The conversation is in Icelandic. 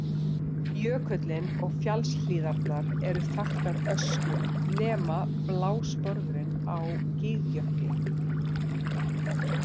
Jökullinn og fjallshlíðarnar eru þaktar ösku nema blásporðurinn á Gígjökli.